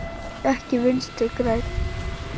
Ekki Vinstri græn.